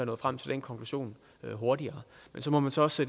nået frem til den konklusion hurtigere men så må man så også